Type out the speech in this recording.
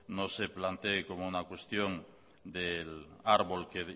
no se plantee como una cuestión del árbol que